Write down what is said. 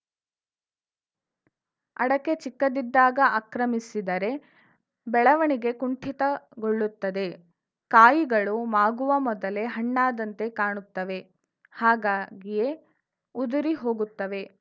ಅಡಕೆ ಚಿಕ್ಕದಿದ್ದಾಗ ಅಕ್ರಮಿಸಿದರೆ ಬೆಳವಣಿಗೆ ಕುಂಠಿತಗೊಳ್ಳುತ್ತದೆ ಕಾಯಿಗಳು ಮಾಗುವ ಮೊದಲೇ ಹಣ್ಣಾದಂತೆ ಕಾಣುತ್ತವೆ ಹಾಗಾಗಿಯೇ ಉದುರಿ ಹೋಗುತ್ತವೆ